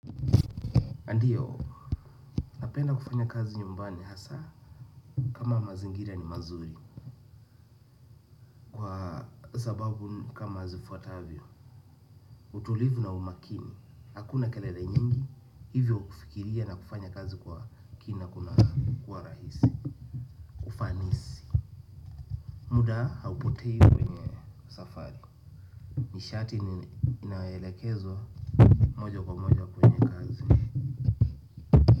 Ndiyo, napenda kufanya kazi nyumbani hasaa kama mazingira ni mazuri kwa sababu kama zifuatavyo utulivu na umakini hakuna kelele nyingi hivyo kufikiria na kufanya kazi kwa kina kuna kuwa rahisi muda haupotei kwenye safari nishati inayoelekezwa moja kwa moja kwenye kazi.